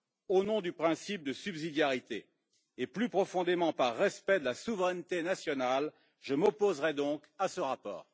Au nom du principe de subsidiarité et, plus profondément, par respect de la souveraineté nationale, je m'opposerai donc à ce rapport.